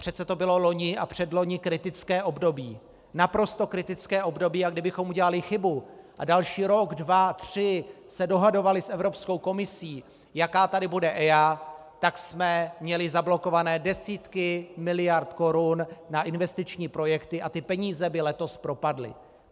Přece to bylo loni a předloni kritické období, naprosto kritické období, a kdybychom udělali chybu a další rok, dva, tři se dohadovali s Evropskou komisí, jaká tady bude EIA, tak jsme měli zablokované desítky miliard korun na investiční projekty a ty peníze by letos propadly.